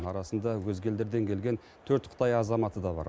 арасында өзге елдерден келген төрт қытай азаматы да бар